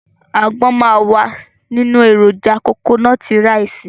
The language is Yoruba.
Àgbọn máa wà nínú èròjà kokonọ́tí raìsì.